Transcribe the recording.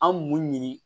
An m'u ɲini